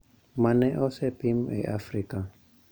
ma ne osepim e Afrika,